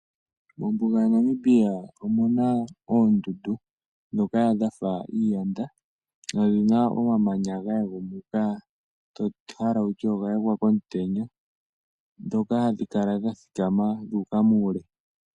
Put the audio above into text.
Mombuga yaNamibia omuna oondundu ndhoka dhafa iiyanda nodhina omamanya ga yagumuka, to hala wutye oga yagwa komutenya, ndhoka hadhi kala dha thikama dhuuka muule.